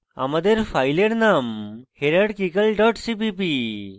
আমাদের file name hierarchical dot cpp